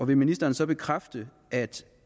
vil ministeren så bekræfte at